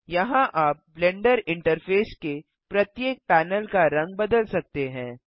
यहाँ आप Blender interface के प्रत्येक पैनल का रंग बदल सकते हैं